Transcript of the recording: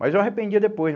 Mas eu arrependia depois né